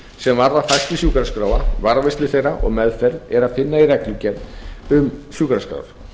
sem varða þætti sjúkraskráa varðveislu þeirra og meðferð er að finna í reglugerð um sjúkraskrár